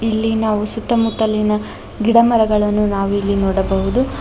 ಇಲ್ಲಿ ನಾವು ಸುತ್ತಮುತ್ತಲಿನ ಗಿಡಮರಗಳನ್ನು ನಾವಿಲ್ಲಿ ನೋಡಬಹುದು.